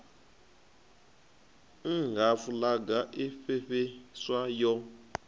nha fulaga i fhefheiswa yo